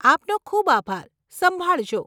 આપનો ખૂબ આભાર, સંભાળજો.